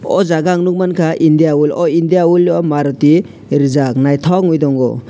o jaga ang nukmankha indian oil o indian oil o maruti rijak naithok ungui tongo.